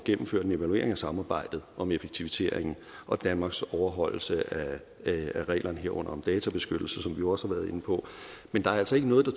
gennemført en evaluering af samarbejdet om effektivisering og danmarks overholdelse af reglerne herunder databeskyttelse som vi jo også har været inde på men der er altså ikke noget der